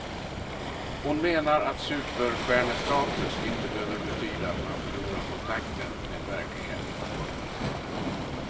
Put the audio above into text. Hon menar att superstjärnestatus inte behöver betyda att man förlorar kontakten med verkligheten. punkt